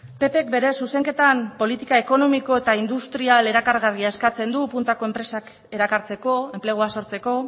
ppk bere zuzenketan politika ekonomiko eta industrial erakargarria eskatzen du puntako enpresak erakartzeko enplegua sortzeko